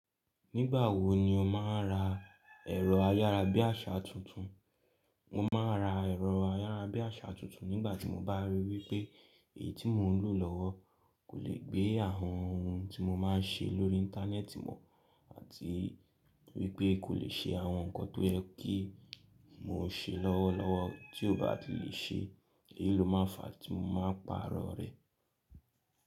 Nígbà wo ni o máa ń ra ẹ̀rọ ayára bí àṣá tuntun? Mo máa ra ẹ̀rọ ayára bí àṣá tuntun nígbà tí mo bá rí i wípé èyí tí mò ń lò lọ́wọ́ kò lè gbé àwọn ohun tí mo máa ń ṣe lórí íńtánẹ́ẹ̀tì mọ̀, àti wípé kò lè ṣe àwọn nǹkan tó yẹ kí mọ ṣe lọ́wọ́lọ́wọ́ tí ó bá ti lè ṣe, èyí ló máa fa tí mo máa paarọ̀ rẹ̀.